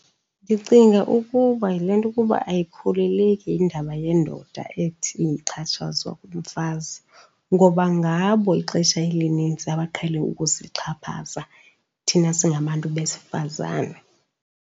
Ndicinga ukuba yile nto ukuba ayikholeleki indaba yendoda ethi ixhatshazwa ngumfazi, ngoba ngabo ixesha elinintsi abaqhele ukusixhaphaza thina singabantu besifazane.